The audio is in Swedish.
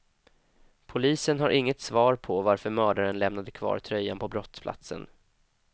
Polisen har inget svar på varför mördaren lämnade kvar tröjan på brottsplatsen.